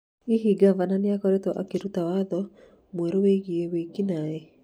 Hihi ngavana nĩ akoretwo akĩruta watho mwerũ wĩgiĩ wĩki-naĩ?